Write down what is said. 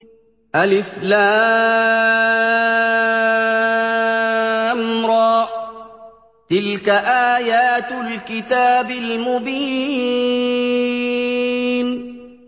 الر ۚ تِلْكَ آيَاتُ الْكِتَابِ الْمُبِينِ